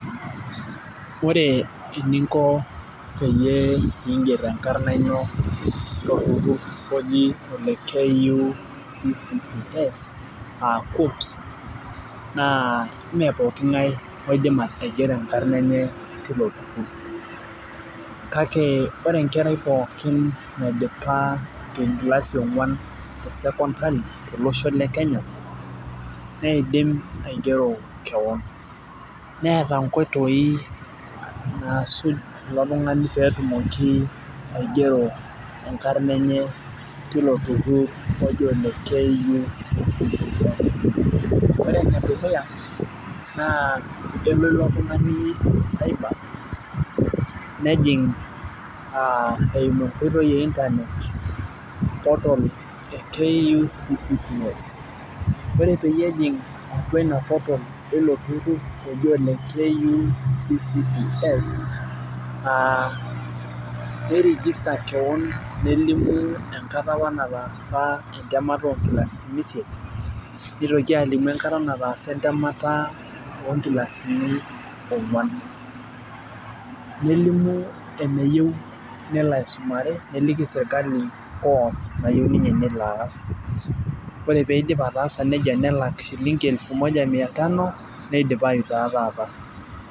Ore eninko peyie iiger enkarna ino tolbuku oji ole KUCCP naa ime pooki ng'ae oidim aigero enkarna enye teilo tururur, kake ore enkerai pookin naidipa enkilasi yionguan te sekondari tolosho le Kenya, neidim aigero kewon, neeta nkoitoi naasuj ilo tungani pee etumoki aigero enkarna enye, teilo tururur oji ole KUCCP ore ene dukuya naa elo ilo tungani cyber nejing aa esimu enkoitoi e internet portal eimu enkoitoi e KUCCP. ore peyie ejing portal eilo tururur, oji ole KUCCP aa nei register kewon nelimu enkata apa nataasa entemata oo nkilasini isiet, nitoki alimu enkata nataasa entemata oonkilasini onguan. nelimu eneyieu nelo aisumare, neliki sirkali course nayieu ninye nelo aas. ore pee eidip ataasa nejia nelak shilingi elfu moja mia tano neidipayu taa taata.